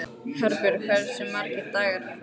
Herbjörg, hversu margir dagar fram að næsta fríi?